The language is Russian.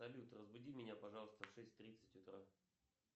салют разбуди меня пожалуйста в шесть тридцать утра